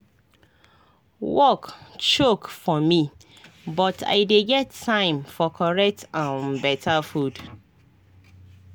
work choke for me but i dey get time for correct um beta food